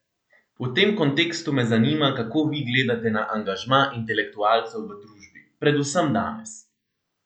V tem kontekstu me zanima, kako vi gledate na angažma intelektualcev v družbi, predvsem danes?